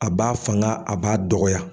A b'a fanga a b'a dɔgɔya.